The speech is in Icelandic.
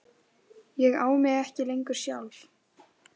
Ég á mig ekki lengur sjálf.